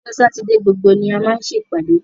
Ọjọ́ Sátidé gbogbo ni a máa ń ṣèpàdé